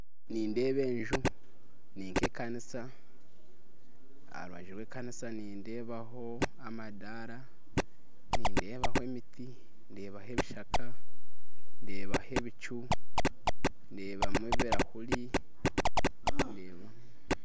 Nindeeba enju eri nk'ekanisa aha rubaju rw'ekanisa nindeebaho amadaara, nindeebaho emiti, ndeebaho ebishaka, ndeebaho ebicu, ndeebamu ebirahuri ndeebamu